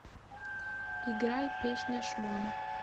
играй песня шмон